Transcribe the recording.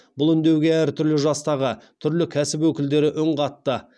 бұл үндеуге әртүрлі жастағы түрлі кәсіп өкілдері үн қатты